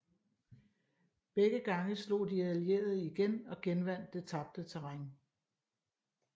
Begge gange slog de allierede igen og genvandt det tabte terræn